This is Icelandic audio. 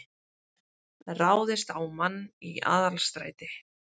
Ráðist á mann í Aðalstræti